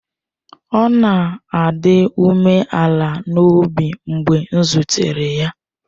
Ọ na-adị umeala n'obi mgbe m zutere ya.